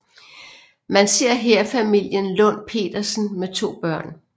Man ser her familien Lund Petersen med to børn